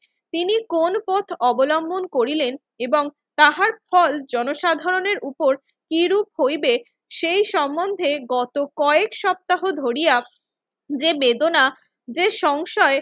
তিনি কোন পথ অবলম্বন করিলেন এবং তাহার ফল জনসাধারণের উপর কিরূপ হইবে সেই সম্বন্ধে গত কয়েক সপ্তাহ ধরিয়া যে বেদনা, যে সংশয়,